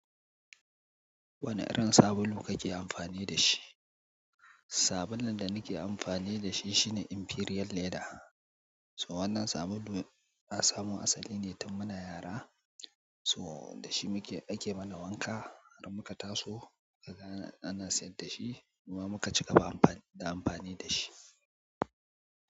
Wane irin sabulu kake amfani da shi? Sabulun da nake amfani da shi shine Imperial Leather. So wannan sabulu na samun asali ne tun muna yara. Toh da shi muke ake mana wanka har muka taso, naga ana sayar da shi, kuma muka cigaba da amfani da shi.